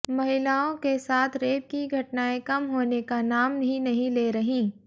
महिलाओं के साथ रेप की घटनाएं कम होने का नाम ही नहीं ले रहीं